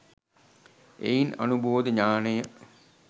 එයින් අනුබෝධ ඤාණය